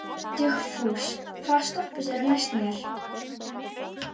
Þú stendur þig vel, Lalíla!